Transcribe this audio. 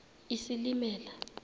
isilimela